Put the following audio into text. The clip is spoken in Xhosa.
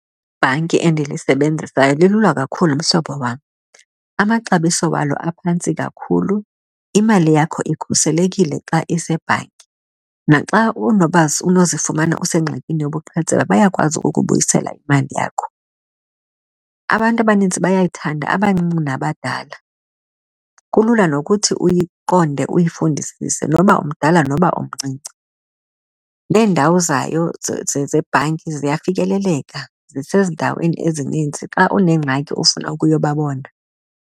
Ibhanki endilisebenzisayo lilula kakhulu, mhlobo wam. Amaxabiso wayo aphantsi kakhulu, imali yakho ikhuselekile xa isebhankini. Naxa unozifumana usengxakini yobuqhetseba bayakwazi ukubuyisela imali yakho. Abantu abaninzi bayayithanda, abancinci nabadala. Kulula nokuthi uyiqonde, uyifundisise noba umdala noba umncinci. Neendawo zayo zebhanki ziyafikeleleka, zisendaweni ezininzi xa unengxaki ofuna ukuyobabona.